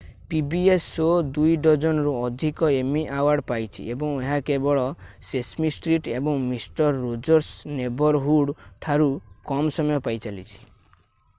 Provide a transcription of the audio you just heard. pbs show ଦୁଇ-ଡଜନରୁ ଅଧିକ Emmy award ପାଇଛି ଏବଂ ଏହା କେବଳ ସେସମି ଷ୍ଟ୍ରିଟ୍ ଏବଂ ମିଷ୍ଟର ରୋଜର୍ସ ନେବରହୁଡ ଠାରୁ କମ୍ ସମୟ ପାଇଁ ଚାଲିଛି